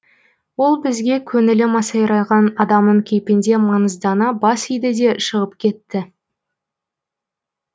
ол бізге көңілі масайраған адамның кейпінде маңыздана бас иді де шығып кетті